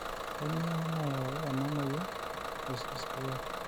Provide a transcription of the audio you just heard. kainyioo nayau ena moyia e CCA?